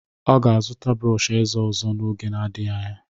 Ọ ga-azụta brọọsh ezé ọzọ n'oge adịghị anya.